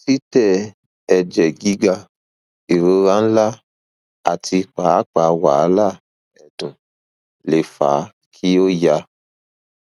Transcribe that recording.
titẹ ẹjẹ giga irora nla ati paapaa wahala ẹdun le fa ki o ya